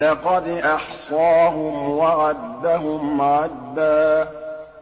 لَّقَدْ أَحْصَاهُمْ وَعَدَّهُمْ عَدًّا